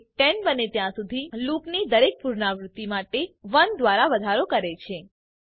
તે 10 બને ત્યાં સુધી લૂપની દરેક પુનરાવૃત્તિ માટે તેમાં 1 દ્વારા વધારો કરે છે